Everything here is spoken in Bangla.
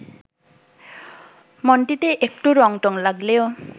মনটিতে একটু রংটং লাগলেও